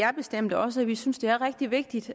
er bestemt også at vi synes det er rigtig vigtigt